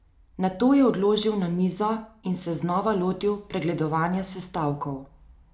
Nato jo je odložil na mizo in se znova lotil pregledovanja sestavkov.